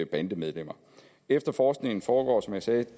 bandemedlemmer efterforskningen foregår som jeg sagde